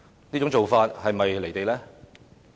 這種做法是否"離地"呢？